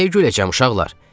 Nəyə güləcəm uşaqlar?